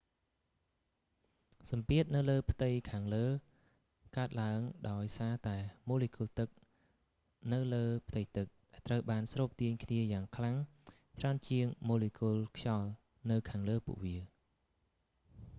សំពាធនៅលើផ្ទៃខាងលើកើតឡើងដោយសារតែម៉ូលេគុលទឹកនៅលើផ្ទៃទឹក ដែលត្រូវបានស្រូបទាញគ្នាយ៉ាងខ្លាំងច្រើនជាងម៉ូលេគុលខ្យល់នៅខាងលើពួកវា